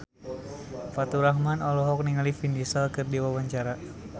Faturrahman olohok ningali Vin Diesel keur diwawancara